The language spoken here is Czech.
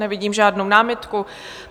Nevidím žádnou námitku.